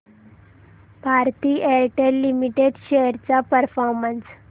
Bharti Airtel limited shares चा performance